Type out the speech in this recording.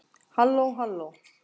HALLÓ, HALLÓ.